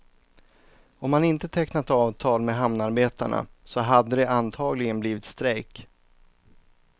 Om han inte tecknat avtal med hamnarbetarna så hade det antagligen blivit strejk.